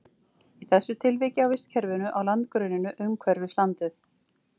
Í þessu tilviki á vistkerfinu á landgrunninu umhverfis landið.